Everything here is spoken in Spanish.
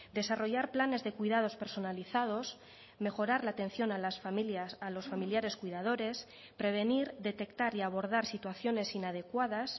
desarrollar planes de cuidados personalizados mejorar la atención a las familias a los familiares cuidadores prevenir detectar y abordar situaciones inadecuadas